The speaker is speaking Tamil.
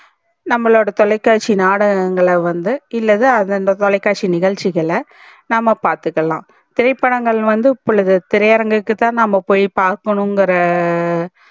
நம்பலோட தொலைகாட்சி நாடகங்கல வந்து இல்லது தொலைகாட்சி நிகழ்ச்சிகல நம்ப பாத்துக்கலாம் திரைப்படங்கள் வந்து இப்போழுது திரையரங்கு தா நம்ப போய் பாக்கணும் இங்கர